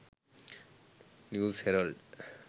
news herald